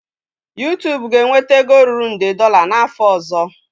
YuTubu ga-enweta ego ruru nde dolla n'afọ ọzọ.